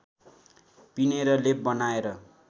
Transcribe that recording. पिनेर लेप बनाएर